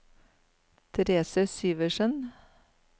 Therese Syversen